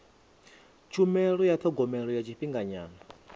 tshumelo ya thogomelo ya tshifhinganyana